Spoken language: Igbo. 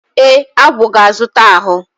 E, Agwu ga-azuta ahu.